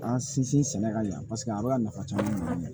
An sinsin sɛnɛ ka jan yan paseke a bɛ ka nafa caman